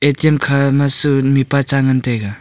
A_T_M khama chu mihpa cha ngan taiga.